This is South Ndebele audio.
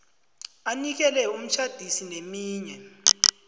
anikele umtjhadisi neminye